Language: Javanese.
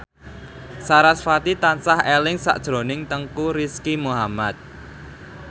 sarasvati tansah eling sakjroning Teuku Rizky Muhammad